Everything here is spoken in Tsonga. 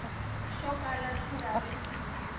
xo kala xi nga ri